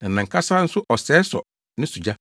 na nʼankasa nso ɔsɛe sɔ ne so gya.